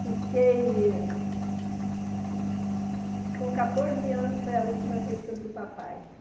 Fiquei com catorze anos, foi a última vez que eu vi o papai.